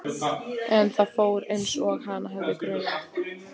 En það fór einsog hana hafði grunað.